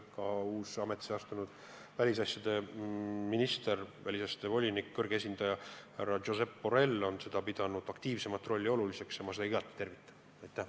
Ka uus ametisse astunud välisasjade volinik, Euroopa Liidu kõrge esindaja härra Josep Borrell on pidanud aktiivsemat rolli oluliseks ja ma seda igati tervitan.